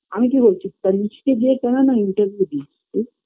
আমি কি বলছি তানিস্কে যেয়ে না interview দিস তুই